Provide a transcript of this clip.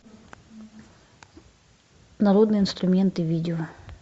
народные инструменты видео